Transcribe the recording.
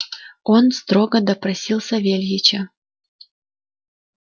он строго допросил савельича